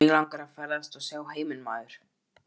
Mig langar að ferðast og sjá heiminn maður.